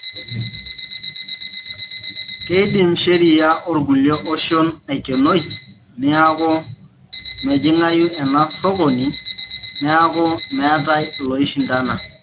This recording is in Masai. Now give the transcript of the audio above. Keidim sheria ookulie oshon aikenoi neaku mejing'ayu ena sokini, niaku meetai ilooishundana.